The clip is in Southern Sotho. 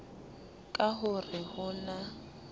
ka ho re ho na